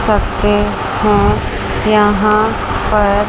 सकते है यहां पर--